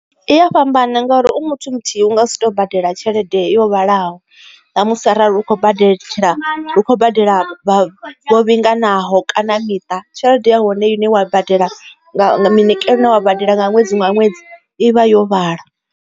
I ya fhambana ngauri u muthu muthihi u nga si tou badela tshelede yo vhalaho na musi arali hu khou badetshela hu khou badela vha vho vhinganaho kana miṱa tshelede ya hone ine wa badela minikelo ina wa badela nga ṅwedzi nga ṅwedzi ivha yo vhala.